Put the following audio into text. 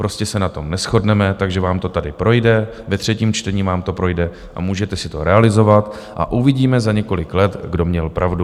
Prostě se na tom neshodneme, takže vám to tady projde, ve třetím čtení vám to projde a můžete si to realizovat, a uvidíme za několik let, kdo měl pravdu.